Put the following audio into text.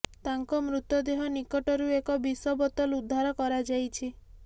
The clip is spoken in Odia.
ତାଙ୍କ ମୃତ ଦେହ ନିକଟରୁ ଏକ ବିଷ ବୋତଲ ଉଦ୍ଧାର କରାଯାଇଛି